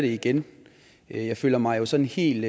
igen jeg føler mig jo sådan helt